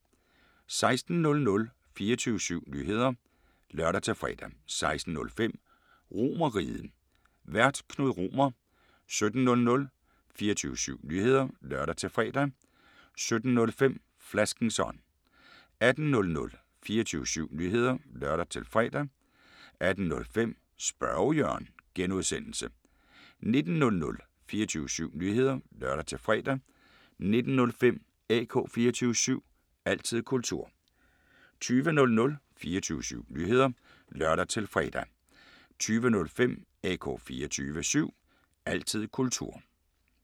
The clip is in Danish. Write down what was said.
16:00: 24syv Nyheder (lør-fre) 16:05: RomerRiget, Vært: Knud Romer 17:00: 24syv Nyheder (lør-fre) 17:05: Flaskens ånd 18:00: 24syv Nyheder (lør-fre) 18:05: Spørge Jørgen (G) 19:00: 24syv Nyheder (lør-fre) 19:05: AK 24syv – altid kultur 20:00: 24syv Nyheder (lør-fre) 20:05: AK 24syv – altid kultur